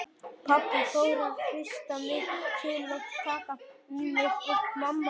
Pabbi fór að hrista mig til og taka í mig og mamma líka.